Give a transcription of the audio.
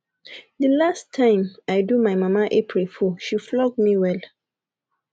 the last time i do my mama april fool she flog me well